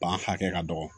Ban hakɛ ka dɔgɔ